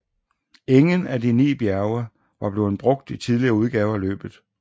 Ingen af de ni bjerge var blevet brugt i tidligere udgaver af løbet